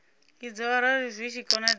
idzo arali zwi tshi konadzea